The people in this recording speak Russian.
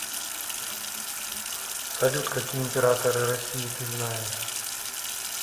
салют какие императоры россии ты знаешь